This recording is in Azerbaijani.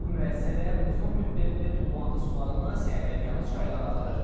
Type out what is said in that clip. Bu müəssisələr uzun müddətdir tullantı sularını sərhədyanı çaylara axıdır.